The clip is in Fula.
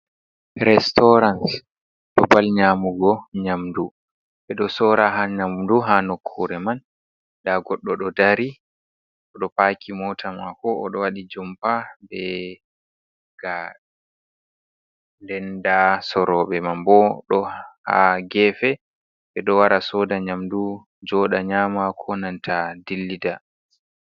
Restorant babal nyaamugo nyamdu, ɓe ɗo soora ha nyamdu ha nokkuure man, ndaa goɗɗo ɗo dari oɗo paaki moota maako, oɗo waɗi jompa be gaare ,nden nda sorrooɓe man bo ɗo ha gefe, ɓe ɗo wara sooda nyamdu jooɗa nyaama, ko nanta dillida.